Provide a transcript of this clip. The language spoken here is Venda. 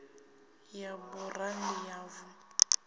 ya burandi ya v o